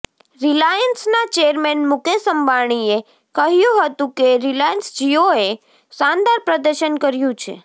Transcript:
Reliance ના chairman Mukesh અંબાણીએ કહ્યું હતું કે રિલાયન્સ જીઓ એ શાનદાર પ્રદર્શન કર્યું છે